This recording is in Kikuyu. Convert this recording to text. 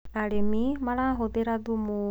arĩmi marahuthira thumu